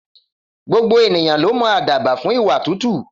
Gbogbo ènìyàn ló mọ àdàbà fún ìwà tútù.